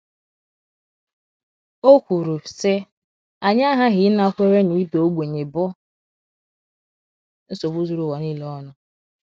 O kwuru, sị: “ Anyị aghaghị ịnakwere na ịda ogbenye bụ nsogbu zuru ụwa nile ọnụ. ”